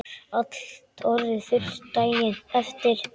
Allt orðið þurrt daginn eftir.